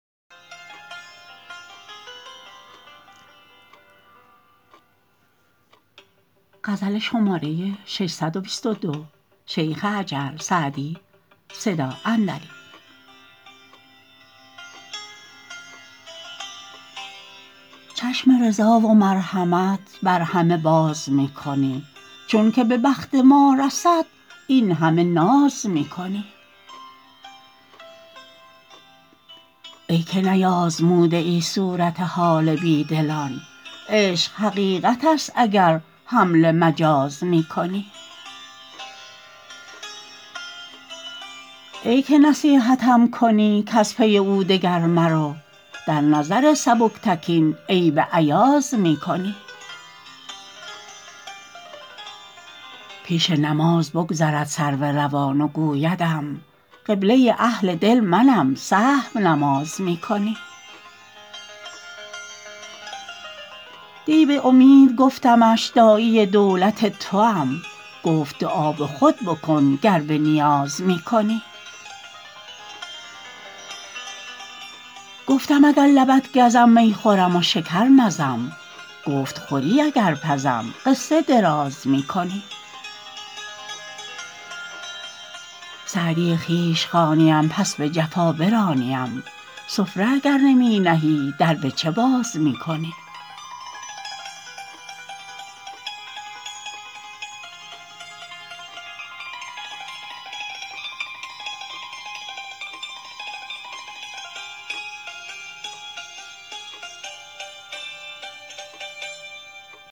چشم رضا و مرحمت بر همه باز می کنی چون که به بخت ما رسد این همه ناز می کنی ای که نیآزموده ای صورت حال بی دلان عشق حقیقت است اگر حمل مجاز می کنی ای که نصیحتم کنی کز پی او دگر مرو در نظر سبکتکین عیب ایاز می کنی پیش نماز بگذرد سرو روان و گویدم قبله اهل دل منم سهو نماز می کنی دی به امید گفتمش داعی دولت توام گفت دعا به خود بکن گر به نیاز می کنی گفتم اگر لبت گزم می خورم و شکر مزم گفت خوری اگر پزم قصه دراز می کنی سعدی خویش خوانیم پس به جفا برانیم سفره اگر نمی نهی در به چه باز می کنی